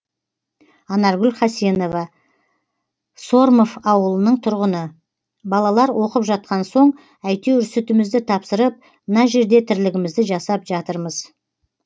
анаргүл хасенова сормов ауылының тұрғыны балалар оқып жатқан соң әйтеуір сүтімізді тапсырып мына жерде тірлігімізді жасап жатырмыз